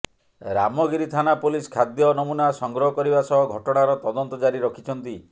ରାମଗିରି ଥାନା ପୋଲିସ ଖାଦ୍ୟ ନମୁନା ସଂଗ୍ରହ କରିବା ସହ ଘଟଣାର ତଦନ୍ତ ଜାରି ରଖିଛନ୍ତି